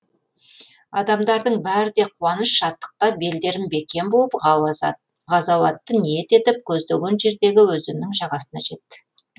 адамдардың бәрі де қуаныш шаттықта белдерін бекем буып ғазауатты ниет етіп көздеген жердегі өзеннің жағасына жетті